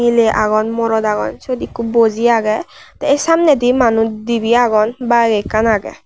miley agon morot agon syot ikko boji agey te samnedi manus dibey agon baek ekkan agey.